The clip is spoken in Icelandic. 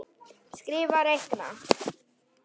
Skrifa- reikna